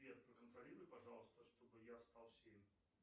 сбер проконтролируй пожалуйста чтобы я встал в семь